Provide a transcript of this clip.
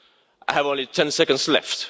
I have only ten seconds left.